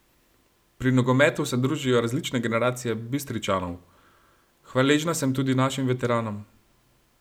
Pri nogometu se družijo različne generacije Bistričanov: "Hvaležna sem tudi našim veteranom.